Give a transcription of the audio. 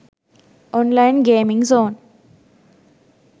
online gaming zone